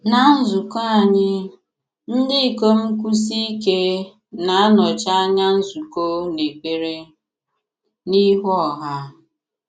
Ná nzùkọ̀ anyị, ndị ikom kwụ̀sie ike na-anọchi anya nzùkọ n’èkpere n’ihu ọha.